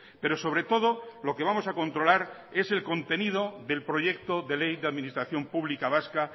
pero sobre todo lo que vamos a controlar es el contenido del proyecto de ley de administración publica vasca